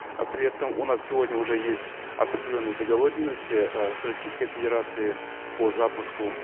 э при этом у нас сегодня уже есть определенные договоренности э с российской федерацией по запуску